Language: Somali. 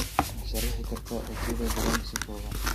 Ma sharaxi kartaa Otile Brown si kooban